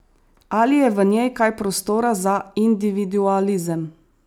Ali je v njej kaj prostora za individualizem?